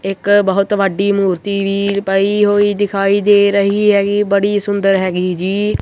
ਇੱਕ ਬਹੁਤ ਵੱਡੀ ਮੂਰਤੀ ਵੀ ਬਈ ਹੋਈ ਦਿਖਾਈ ਦੇ ਰਹੀ ਹੈਗੀ ਬੜੀ ਸੁੰਦਰ ਹੈਗੀ ਜੀ।